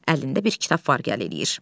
Əlində bir kitab var, gələ eləyir.